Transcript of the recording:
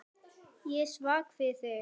Ég er svag fyrir því.